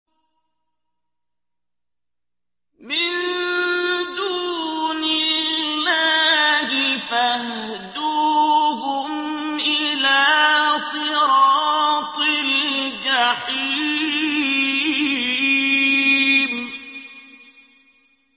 مِن دُونِ اللَّهِ فَاهْدُوهُمْ إِلَىٰ صِرَاطِ الْجَحِيمِ